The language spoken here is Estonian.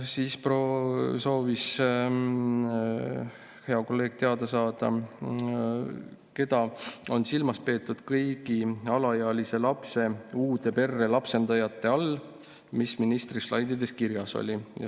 Siis soovis hea kolleeg teada saada, keda on silmas peetud kõigi alaealise lapse uude perre lapsendajate all, mis ministri slaididel kirjas oli.